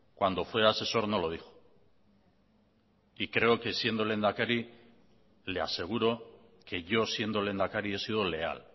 cuando fue asesor no lo dijo y creo que siendo lehendakari le aseguro que yo siendo lehendakari he sido leal